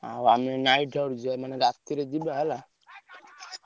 ଆଉ ଆମେ ରାତିରେ ଯିବା ହେଲା